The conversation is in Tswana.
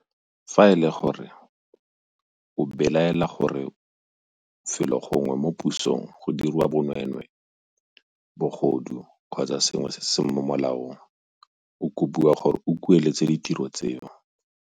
FA E LE GORE o belaela gore felo gongwe mo pusong go diriwa bonweenwee, bogodu kgotsa sengwe se se seng mo molaong, o kopiwa gore o kueletse ditiro tseo.